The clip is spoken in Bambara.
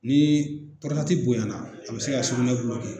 Ni bonyana a bɛ se ka sugunɛ